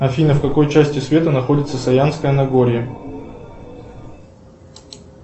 афина в какой части света находится саянское нагорье